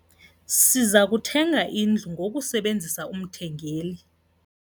Siza kuthenga indlu ngokusebenzisa umthengeli.